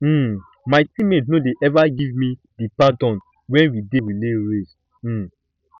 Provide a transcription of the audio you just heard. um my teammates no dey ever give me the baton wen we dey play relay race um